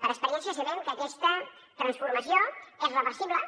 per experiència sabem que aquesta transformació és reversible